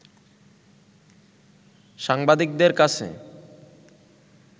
সাংবাদিকদের কাছে